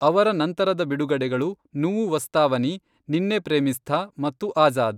ಅವರ ನಂತರದ ಬಿಡುಗಡೆಗಳು ನುವ್ವು ವಾಸ್ತವಾನಿ, ನಿನ್ನೆ ಪ್ರೇಮಿಸ್ಥ ಮತ್ತು ಆಜಾದ್.